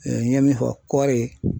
n ye min fɔ kɔɔri